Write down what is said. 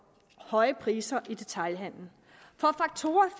høje priser i detailhandelen